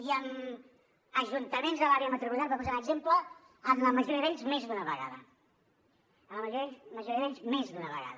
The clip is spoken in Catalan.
i amb ajuntaments de l’àrea metropolitana per posar un exemple amb la majoria d’ells més d’una vegada amb la majoria d’ells més d’una vegada